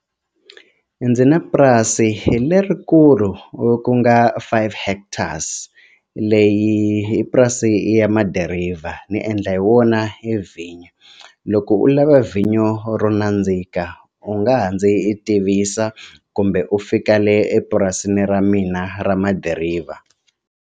Ndzi na purasi lerikulu ku nga five hectares leyi i purasi ya madiriva ni endla hi wona hi vhinyo loko u lava vhinyo ro nandzika u nga ha ndzi tivisa kumbe u fika le epurasini ra mina ra madiriva.